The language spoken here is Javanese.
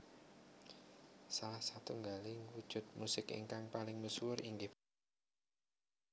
Salh satunggaling wujud musik ingakng paling misuwur inggih punika gamelan